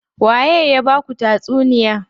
Waye ya baku tatsuniya?